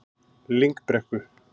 Lyngbrekku